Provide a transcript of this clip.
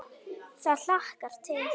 Það hlakkar til.